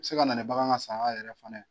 Se ka nana nin bagan ka saya yɛrɛ fana ye.